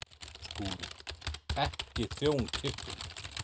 SKÚLI: Ekki þjón kirkjunnar.